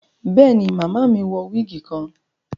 Béèni, Màmá mí wọ wigi kan